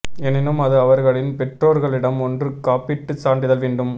எனினும் அது அவர்களின் பெற்றோர்களிடம் ஒன்று காப்பீட்டு சான்றிதழ் வேண்டும்